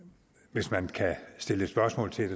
hvis man kan stille spørgsmål til